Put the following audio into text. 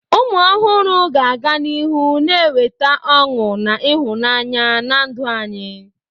Ụmụ ọhụrụ ga-aga n'ihu na-eweta ọṅụ na ịhụnanya na ndụ anyị.